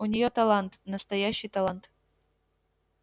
у нее талант настоящий талант